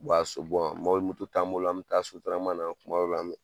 U b'a ni moto t'an bolo an bɛtaa sotrama na tuma dɔw la an bɛ